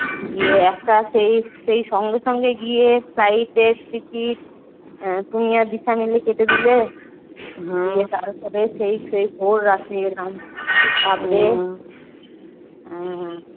ইয়ে একটা সেই সঙ্গে সঙ্গে গিয়ে flight এর টিকিট তুমি আর দিশা মিলে কেটে দিলে দিয়ে তারপরে সেই সেই ভোর রাতে এলাম।